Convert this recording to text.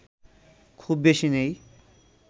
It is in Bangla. খুব বেশি নেই